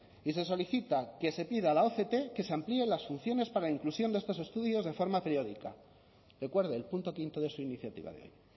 y se solicita que se pida a la oct que se amplíen las funciones para la inclusión de estos estudios de forma periódica recuerde el punto quinto de su iniciativa de hoy